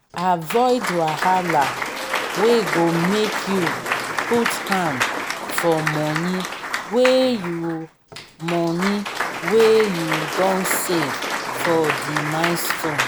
avoid wahala wey go make you put hand for money wey you money wey you don save for di milestone